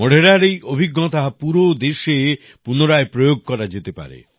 মোঢেরার এই অভিজ্ঞতা পুরো দেশে পুনরায় প্রয়োগ করা যেতে পারে